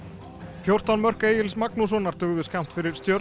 fjórtán mörk Egils Magnússonar dugðu skammt fyrir Stjörnuna